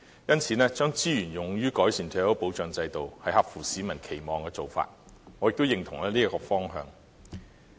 因此，將資源用於改善退休保障制度，是合乎市民期望的做法，我亦認同這個方向。